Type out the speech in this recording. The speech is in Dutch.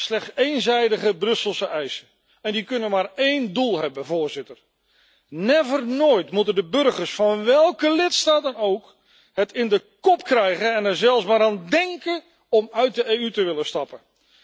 Slechts eenzijdige Brusselse eisen en die kunnen maar één doel hebben, Voorzitter never nooit moeten de burgers van welke lidstaat dan ook het in de kop krijgen en er zelfs maar aan dénken om uit de EU te willen stappen.